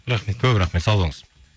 рахмет көп рахмет сау болыңыз